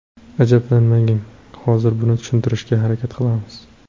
Ajablanmang, hozir buni tushuntirishga harakat qilamiz.